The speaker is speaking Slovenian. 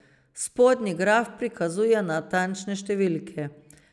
Spodnji graf prikazuje natančne številke.